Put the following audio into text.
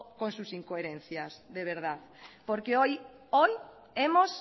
con sus incoherencias de verdad porque hoy hoy hemos